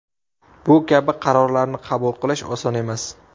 Bu kabi qarorlarni qabul qilish oson emas.